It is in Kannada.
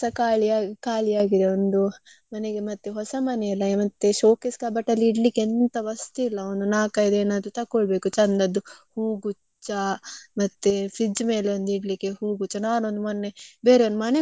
ಒಂದು ಮನೆಗೆ ಮತ್ತೆ ಹೊಸ ಮನೆ ಅಲ್ಲ showcase kapat ಅಲ್ಲಿ ಇಡಲಿಕ್ಕೆ ಎಂತ ವಸ್ತು ಇಲ್ಲ. ಒಂದು ನಾಲ್ಕೈದು ತಕ್ಕೊಳ್ಬೇಕು ಚಂದದ್ದು. ಹೂಗುಚ್ಚ ಮತ್ತೆ fridge ಮೇಲೆ ಇಡ್ಲಿಕ್ಕೆ ಒಂದು ಹೂಗುಚ್ಚ. ನಾನೊಂದು ಮೊನ್ನೆ ಬೇರೆಯವರ್ ಮನೆಗ್ ಹೋಗಿದ್ದೆ ಅಲ್ಲಿ.